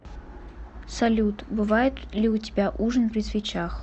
салют бывает ли у тебя ужин при свечах